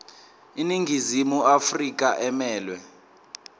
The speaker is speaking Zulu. iningizimu afrika emelwe